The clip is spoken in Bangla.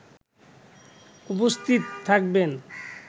উপস্থিত থাকবেন